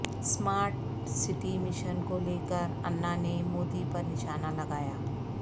smart city mission کو لے کر انا نے مودی پر نشانہ لگایا